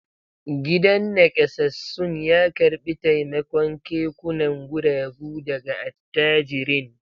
Gidan nakasassun ya karbi taimakon kekunan guragu daga attajirin